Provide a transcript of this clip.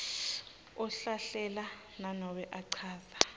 ahlahlela nanobe achaza